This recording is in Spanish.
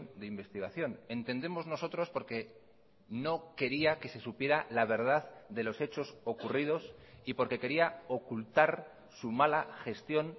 de investigación entendemos nosotros porque no quería que se supiera la verdad de los hechos ocurridos y porque quería ocultar su mala gestión